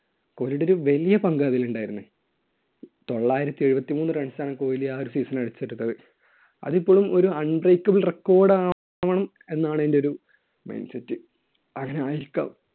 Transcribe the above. കോഹ്‌ലിയുടെ ഒരു വലിയ പങ്ക് അതിൽ ഉണ്ടായിരുന്നു. തൊള്ളായിരത്തി എഴുപത്തിമൂന്ന് runs ആണ് കോഹ്ലി ആ ഒരു season ൽ അടിച്ചിട്ടുള്ളത്. അത് ഇപ്പോഴും ഒരു unbreakable record ആണ് എന്നാണ് എന്‍റെ ഒരു mind set. അങ്ങനെ ആയിരിക്കാം.